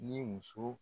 Ni muso